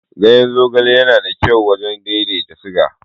Ganyen zogale yana da kyau wajen daidaita siga.